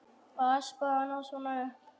Að espa hann svona upp!